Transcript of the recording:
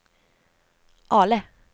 Ale